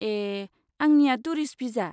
ए, आंनिया tourist visa?